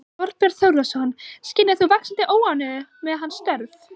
Þorbjörn Þórðarson: Skynjar þú vaxandi óánægju með hans störf?